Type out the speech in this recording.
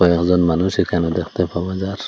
একজন মানুষ এখানে দেখতে পাওয়া যার--